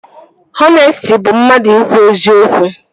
Ọnesti bụ mmadụ ikwu eziokwu